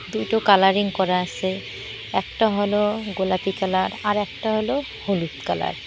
দুটো কালারিং করা আছে একটা হল গোলাপী কালার আরেকটা হল হলুদ কালার ।